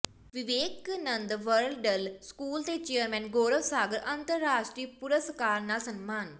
Vivekananda world school ਦੇ chairman Gaurav Sagar ਅੰਤਰਰਾਸ਼ਟਰੀ ਪੁਰਸਕਾਰ ਨਾਲ ਸਨਮਾਨ